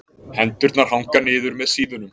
Hendurnar hanga niður með síðunum.